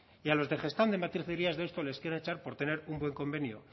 y a los de gestamp de matricería deusto les quieren echar por tener un buen convenio